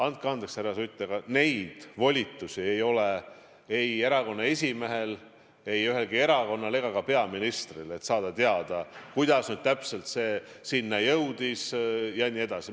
Andke andeks, härra Sutt, aga neid volitusi ei ole ei erakonna esimehel, ei ühelgi erakonnal ega ka peaministril, et saada teada, kuidas täpselt see sinna jõudis jne.